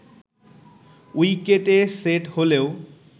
উইকেটে সেট হলেও